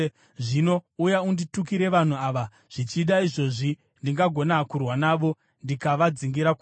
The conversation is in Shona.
Zvino uya unditukire vanhu ava. Zvichida izvozvi ndingagona kurwa navo ndikavadzingira kure.’ ”